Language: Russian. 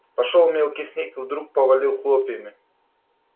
пошёл мелкий снег и вдруг повалил хлопьями